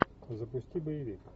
запусти боевик